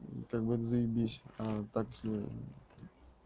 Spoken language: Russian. ну так будет заебись а так если